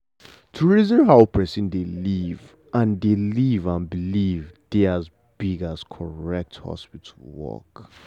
to reason how person dey live and dey live and believe dey as big as correct hospital work.